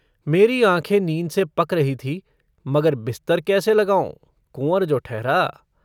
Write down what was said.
मेरी आँखें नींद से पक रही थीं मगर बिस्तर कैसे लगाऊँ कुँवर जो ठहरा।